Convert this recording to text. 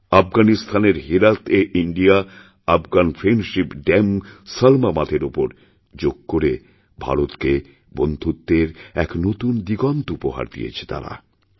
আফগানিস্তানের হেরাতএ India Afghan friendship dam সলমাবাঁধের উপর যোগ করে ভারতকে বন্ধুত্বের এক নতুন দিগন্ত উপহার দিয়েছে তারা